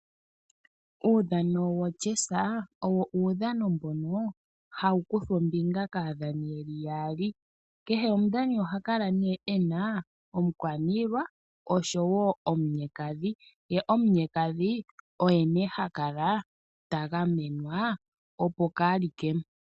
Uudhano wo chessa owo uudhano mbono hawu kuthwa ombinga kaadhani yeli yaali. Kehe omudhani ohakala nee ena omukwaniilwa oshowo omunyekadhi ,ye omunyekadhi oye nee haka ta gamenwa opo kaalike.